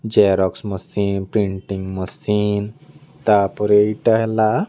Xerox machine printing machine ତା ପରେ ଏଟା ହେଲା।